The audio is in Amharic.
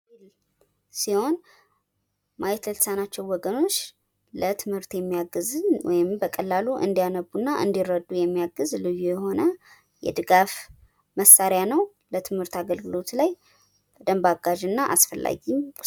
ብሬል ሲሆን ማየት የተሳናቸውን ወገኖች ለትምህርት እንዲያግዝ ወይም በቀላሉ እንዲያነቡ እና እንዲረዱ የሚያግዝ ልዩ የሆነ የድጋፍ መሳሪያ ነው። በትምህርት አገልግሎት ላይ በደምብ አጋዥ እና አስፈላጊ ነው።